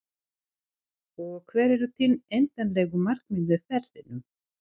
Og hver eru þín endanlegu markmið með ferlinum?